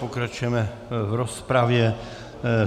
Pokračujeme v rozpravě.